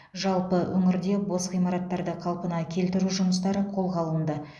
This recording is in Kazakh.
жалпы өңірде бос ғимараттарды қалпына келтіру жұмыстары қолға алынды